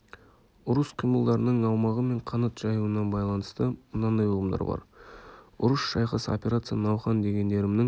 ұрыс қимылдарының аумағы мен қанат жаюына байланысты мынандай ұғымдар бар ұрыс шайқас операция науқан дегендерімнің